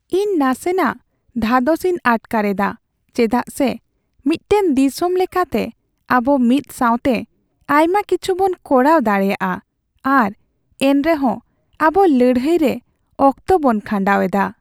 ᱤᱧ ᱱᱟᱥᱮᱱᱟᱜ ᱫᱷᱟᱫᱚᱥᱤᱧ ᱟᱴᱠᱟᱨ ᱮᱫᱟ ᱪᱮᱫᱟᱜᱼᱥᱮ ᱢᱤᱫᱴᱟᱝ ᱫᱤᱥᱚᱢ ᱞᱮᱠᱟᱛᱮ ᱟᱵᱚ ᱢᱤᱫ ᱥᱟᱣᱛᱮ ᱟᱭᱢᱟ ᱠᱤᱪᱷᱩᱵᱚᱱ ᱠᱚᱨᱟᱣ ᱫᱟᱲᱮᱭᱟᱜᱼᱟ ᱟᱨ ᱮᱱᱨᱮᱦᱚᱸ ᱟᱵᱚ ᱞᱟᱹᱲᱦᱟᱹᱭ ᱨᱮ ᱚᱠᱛᱚ ᱵᱚᱱ ᱠᱷᱟᱸᱰᱟᱣ ᱮᱫᱟ ᱾